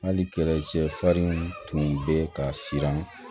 Hali tun bɛ ka siran